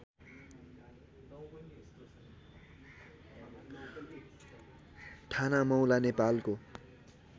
ठानामौला नेपालको